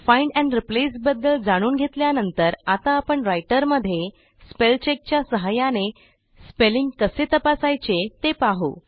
find and replace बद्दल जाणून घेतल्यानंतर आता आपण रायटरमध्ये स्पेलचेक च्या सहाय्याने स्पेलिंग कसे तपासायचे ते पाहू